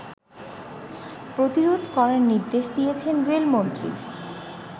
প্রতিরোধ করার নির্দেশ দিয়েছেন রেলমন্ত্রী